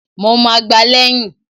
Mo ma gbá lẹ̀yìn!